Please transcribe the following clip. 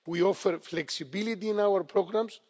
We offer flexibility in our programmes.